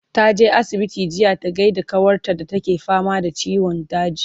taje asibiti jiya ta gaida kawar ta da take fama da ciwon daji